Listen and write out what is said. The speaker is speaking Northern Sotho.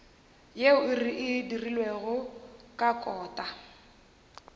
yeo e dirilwego ka kota